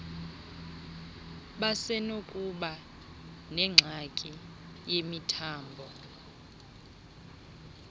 basenokuba nengxaki yemithambo